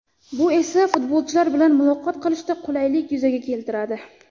Bu esa futbolchilar bilan muloqot qilishda qulaylik yuzaga keltiradi.